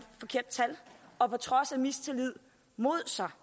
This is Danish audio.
forkerte tal og på trods af mistillid mod sig